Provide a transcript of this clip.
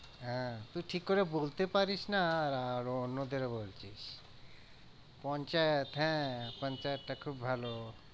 হ্যাঁ তুই ঠিক করে বলতে পারিস না আর অন্যদের বলছিস হ্যাঁ টা খুব ভালো।